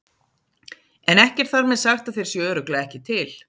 En ekki er þar með sagt að þeir séu örugglega ekki til.